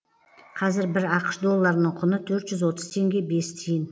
қазір бір ақш долларының құны төрт жүз отыз теңге бес тиын